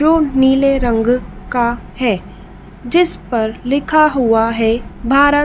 जो नीले रंग का है जिस पर लिखा हुआ है भारत--